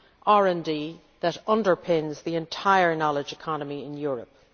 RD that underpins the entire knowledge economy in Europe.